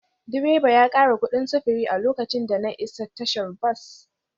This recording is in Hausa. Direba ya kara kudin sufuri a lokacin da na isa tashar bas